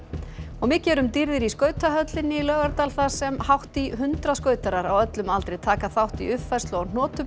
mikið er um dýrðir í skautahöllinni í Laugardal þar sem hátt í hundrað á öllum aldri taka þátt í uppfærslu á